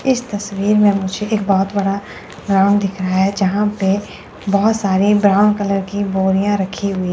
इस तस्वीर में मुझे एक बहुत बड़ा ग्राउंड दिख रहा है यहां पे बहुत सारे ब्राउन कलर की बोरियां रखी हुई--